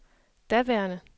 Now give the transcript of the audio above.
daværende